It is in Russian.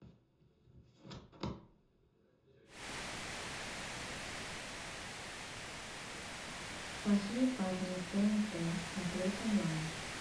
плохие парни тнт смотреть онлайн